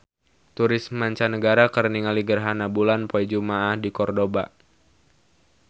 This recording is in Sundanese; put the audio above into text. Turis mancanagara keur ningali gerhana bulan poe Jumaah di Kordoba